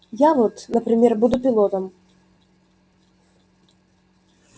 я вот например буду пилотом